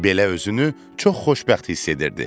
Belə özünü çox xoşbəxt hiss edirdi.